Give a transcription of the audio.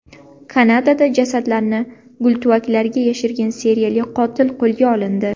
Kanadada jasadlarni gultuvaklarga yashirgan seriyali qotil qo‘lga olindi.